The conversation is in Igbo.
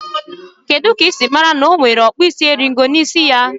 Kedu ka i siri mara na o nwere ọkpụisieringo n' isi ya?